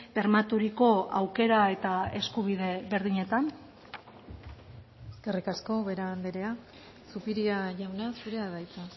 bermaturiko aukera eta eskubide berdinetan eskerrik asko ubera andrea zupiria jauna zurea da hitza